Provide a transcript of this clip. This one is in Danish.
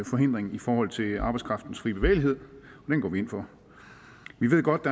forhindring i forhold til arbejdskraftens frie bevægelighed og den går vi ind for vi ved godt